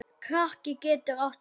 Kraki getur átt við